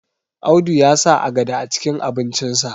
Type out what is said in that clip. Audu ya sa agada acikin abincinsa